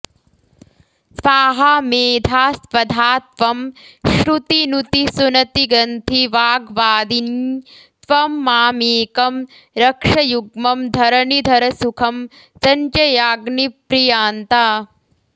स्वाहा मेधा स्वधा त्वं श्रुतिनुतिसुनतिग्रन्थिवाग्वादिनी त्वं मामेकं रक्षयुग्मं धरणिधरसुखं सञ्चयाग्निप्रियान्ता